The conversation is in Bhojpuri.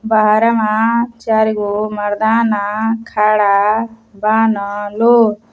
बहारवां चार गो मर्दाना खड़ा बान लो।